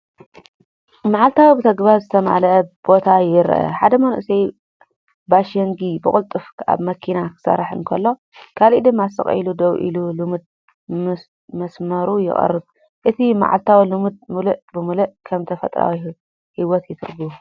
መዓልታዊ ብተግባር ዝተመልአ ቦታ ይረአ፤ ሓደ መንእሰይ ባሺንግ ብቕልጡፍ ኣብ መኪና ክሰርሕ እንከሎ፡ ካልእ ድማ ስቕ ኢሉ ደው ኢሉ ልሙድ መስመሩ የቕርብ፤ እቲ መዓልታዊ ልምዲ ምሉእ ብምሉእ ከም ተፈጥሮኣዊ ህይወት ይትርጎም።